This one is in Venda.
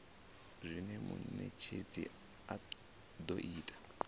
zwine munetshedzi a do ita